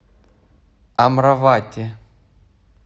амравати